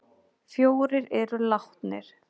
Fjórir eru látnir